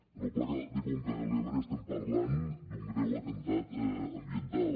amb el pla de conca de l’ebre parlem d’un greu atemptat ambiental